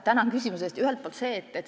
Tänan küsimuse eest!